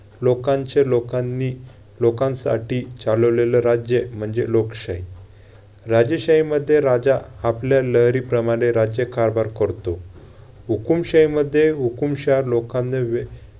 लोकांचे, लोकांनी, लोकांसाठी चालवलेलं राज्य म्हणजे लोकशाही. राजशाहीमध्ये राजा आपल्या लहरीप्रमाणे राज्यकारभार करतो. हुकूमशाहीमध्ये हुकूमशाह लोकांना वे~